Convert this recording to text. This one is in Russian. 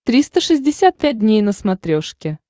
триста шестьдесят пять дней на смотрешке